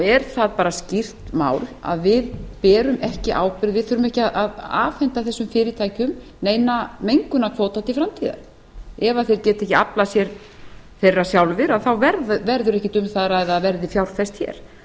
er það bara skýrt mál að við berum ekki ábyrgð við þurfum ekki að afhenda þessum fyrirtækjum neina mengunarkvóta til framtíðar ef þeir geta ekki aflað sér þeirra sjálfir þá verður ekkert um það að ræða að það verði fjárfest hér